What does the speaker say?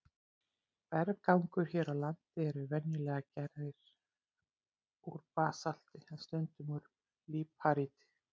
Berggangar hér á landi eru venjulega gerðir úr basalti en stundum úr líparíti.